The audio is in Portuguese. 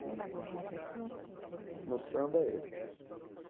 Tem mais alguma pessoa que o senhor queria... No samba, ele.